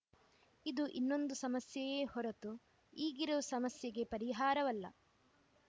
ಇದು ಇನ್ನೊಂದು ಸಮಸ್ಯೆಯೇ ಹೊರತು ಈಗಿರುವ ಸಮಸ್ಯೆಗೆ ಪರಿಹಾರವಲ್ಲ